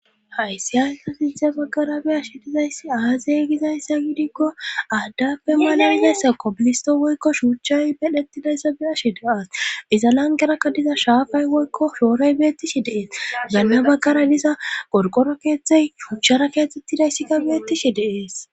hayssi hayssa sinthe baggara biyashi dizayssi aazey gizayssa gidikko aaddafe malamizayssakko bilisto woykko shuuchchay medhettidayssa beashi deas iza langerakka diza shaafay woykko shoorey beettishi deees ganma baggara diza gorqoro keeththey shuuchara keetettidayssikka beettishi deees